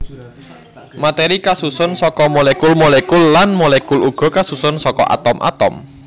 Matèri kasusun saka molekul molekul lan molekul uga kasusun saka atom atom